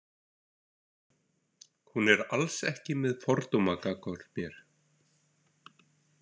Hún er alls ekki með fordóma gagnvart mér.